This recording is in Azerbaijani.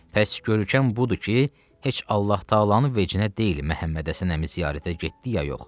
Bəs görkəm budur ki, heç Allah təalanın vecinə deyil Məhəmməd Həsən əmi ziyarətə getdi ya yox.